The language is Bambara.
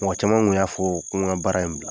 Mɔgɔ caman kun y'a fɔ ko n ka baara in bila.